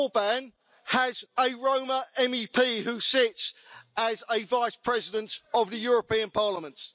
Orbán has a Roma MEP who sits as a vice president of the European Parliament.